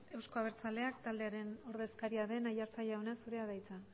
euzko abertzaleak taldearen ordezkarian den aiartza jauna zurea da hitza